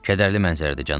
Kədərli mənzərədir, cənab.